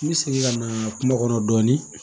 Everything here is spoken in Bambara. N bɛ segin ka na kuma kɔnɔ dɔɔnin